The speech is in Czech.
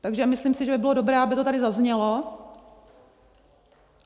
Takže myslím si, že by bylo dobré, aby to tady zaznělo.